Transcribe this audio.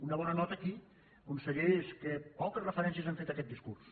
una bona nota aquí conseller és que poques referències han fet a aquest discurs